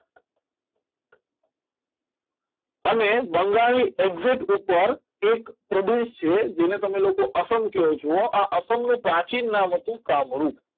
અને બંગાળની exite ઉપર એક પ્રદેશ છે જેને તમે લોકો જ અસંખનો પ્રાચીન નામ હતું કામરૂ